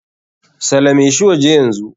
Salame shi waje yanzu.